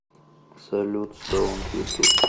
салют стоунд ютуб